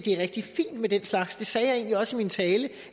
er rigtig fint med den slags jeg sagde også i min tale at